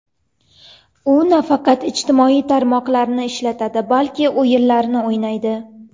U nafaqat ijtimoiy tarmoqlarni ishlatadi, balki o‘yinlar o‘ynaydi.